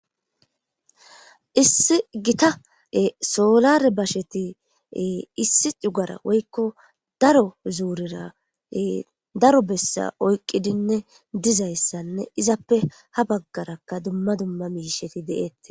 Issi gita solare basheti issi cugara woyko daro zurera daro brsa oyqidiime duzaysann eizappe ha bagaraka dumma dumma mishati de'etes